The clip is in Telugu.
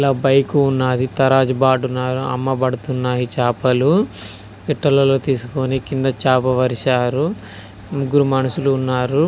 ఇక్కడ బైక్ ఉన్నదీ తరాజ్ బాటు అమ్మబడుతున్నాయి చేపలు పెట్టెలలో తీసికుని కింద చాప పరిచారు ముగ్గురు మనుషులు ఉన్నారు